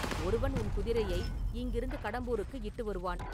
ஒருவன் உன் குதிரையை இங்கிருந்து கடம்பூருக்கு இட்டு வருவான்.